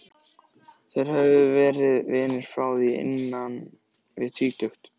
Þeir höfðu verið vinir frá því innan við tvítugt.